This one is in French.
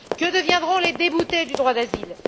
Que deviendront les déboutés du droit d'asile?